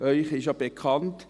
Ihnen ist ja bekannt: